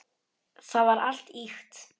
Það var allt ýkt.